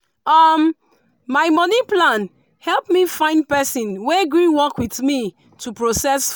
um my money plan help me find person wey gree work with me to process food.